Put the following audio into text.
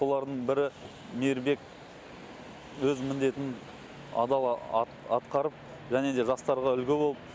солардың бірі мейірбек өз міндетін адал атқарып және де жастарға үлгі болып